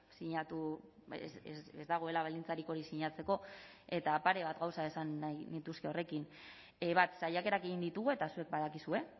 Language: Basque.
sinatu ez dagoela baldintzarik hori sinatzeko eta pare bat gauza esan nahi nituzke horrekin bat saiakerak egin ditugu eta zuek badakizue